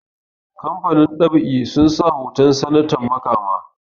kamafanin ɗab'i sun sa hoton sananta makama